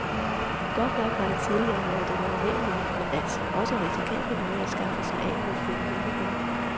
Godt nok har det tidligere været den almindelige, men altså også risikable måde at skaffe sig af med fænomenet på.